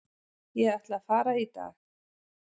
Ég ætla að fara í dag.